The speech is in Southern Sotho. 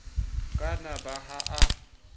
ka na ba ha a